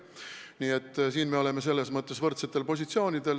Nii et siin me oleme selles mõttes võrdsetel positsioonidel.